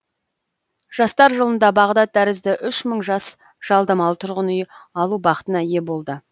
жастар жылында бағдат тәрізді үш мың жас жалдамалы тұрғын үй алу бақытына ие болды